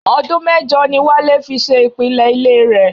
Ọdún mẹ́jọ ni Wálé fi ṣe ìpìlẹ̀ ilé rẹ̀.